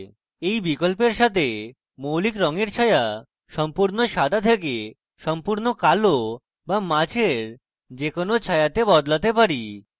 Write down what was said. এই বিকল্পের সাথে আমরা মৌলিক রঙের ছায়া সম্পূর্ণ সাদা থেকে সম্পূর্ণ কালো বা মাঝের যে কোনো ছায়াতে বদলাতে vary